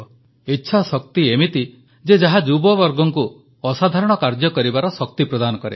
ଇଚ୍ଛାଶକ୍ତି ଏମିତି ଯେ ଯାହା ଯୁବବର୍ଗଙ୍କୁ ଅସାଧାରଣ କାର୍ଯ୍ୟ କରିବାର ଶକ୍ତି ପ୍ରଦାନ କରେ